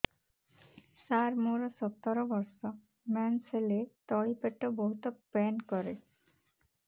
ସାର ମୋର ସତର ବର୍ଷ ମେନ୍ସେସ ହେଲେ ତଳି ପେଟ ବହୁତ ପେନ୍ କରେ